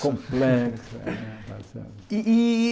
Complexa. E e e